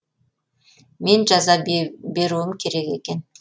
мен жаза беруім керек екен